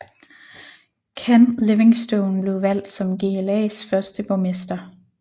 Ken Livingstone blev valgt som GLAs første borgmester